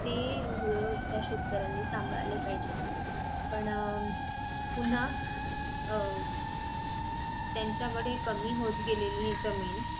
ती गोर त्या शेतकऱ्यांनी सांभाळा पाहिजे पण पुन्हा अह त्यांच्याकडे कमी होत गेलेली जमीन